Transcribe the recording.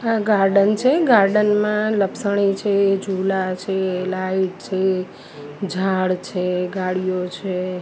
આ ગાર્ડન છે ગાર્ડન મા લપસણી છે ઝુલા છે લાઇટ છે ઝાડ છે ગાડીઓ છે.